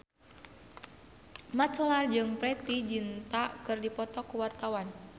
Mat Solar jeung Preity Zinta keur dipoto ku wartawan